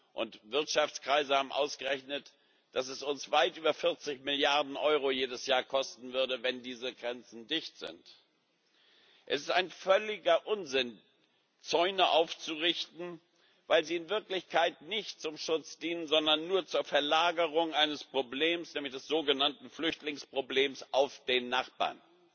Und Wirtschaftskreise haben ausgerechnet, dass es uns jedes Jahr weit über 40 Milliarden Euro kosten würde, wenn diese Grenzen dicht sind. Es ist völliger Unsinn, Zäune aufzurichten, weil sie in Wirklichkeit nicht zum Schutz dienen, sondern nur zur Verlagerung eines Problems nämlich des sogenannten Flüchtlingsproblems auf den Nachbarn.